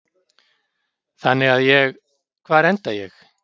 Þannig að ég, hvar enda ég?